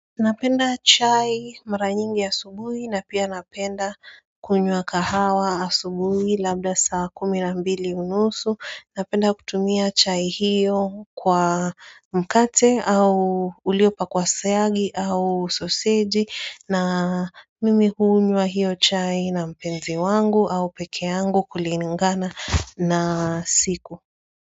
Napenda chai mara nyingi asubuhi na pia napenda kunywa kahawa asubuhi labda saa kumi na mbili unusu. Napenda kutumia chai hiyo kwa mkate au uliopakwa syagi au soseji na mimi hunywa hiyo chai na mpenzi wangu au peke yangu kuliningana na siku.